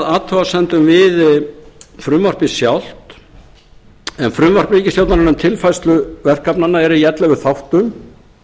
athugasemdum við frumvarpið sjálft en frumvarp ríkisstjórnarinnar um tilfærslu verkefnanna er í ellefu þáttum